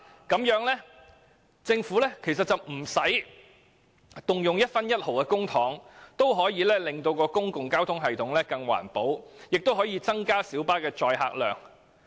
這樣政府便可在無需動用一分一毫公帑的情況下，令公共交通系統更環保，同時亦可增加小巴的載客量。